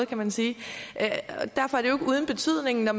kan man sige og derfor er det uden betydning når